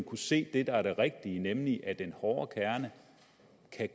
kunne se det der er det rigtige nemlig at den hårde kerne